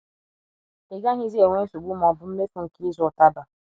Ị gaghịzi enwe nsogbu ma ọ bụ mmefu nke ịzụ ụtaba.